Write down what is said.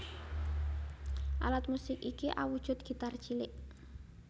Alat musik iki awujud gitar cilik